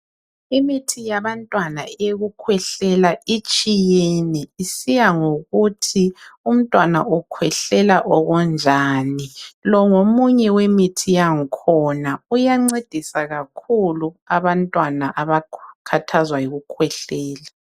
Imithi yabantwana eyokukhwehlela itshiyene isiyangokuthi umntwana ukhwehlela okunjani. Lo ngomunye wemithi yangkhona. Uyancedisa kakhulu abantwana abakhathazwa yikukhwehlela.